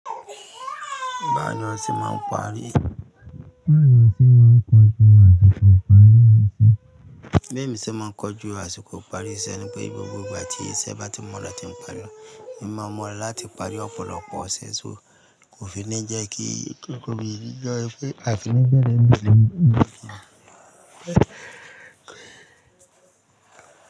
Bá nìyàn sí máa ń parí. Bí èmi ṣe máa ń kojú àsìkò ìparí iṣẹ́ ni pé gbogbo ìgbà tí iṣẹ́ bá ti mọ́ rà tí ń pari, èmi máa mọ̀ láti parí ọ̀pọ̀lọpọ̀ iṣe ṣọ. Kò fi ní jẹ́ kí kò fi ní jẹ́ kí èmi lè.